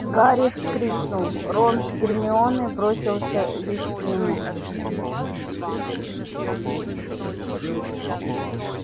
гарри вскрикнул рон с гермионой бросились к нему